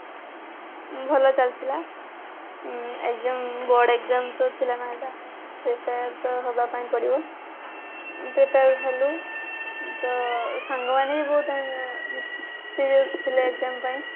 ହଁ ଭଲ ଚାଲିଥିଲା board exam ପାଇଁ board exam ତ ଥିଲା ନା ଏଇଟା prepare ତ ହବା ପାଇଁ ପଡିବ prepare ହେଲୁ ତ ସାଙ୍ଗ ମାନେ ବି ବହୁତ serious ଥିଲେ exam ପାଇଁ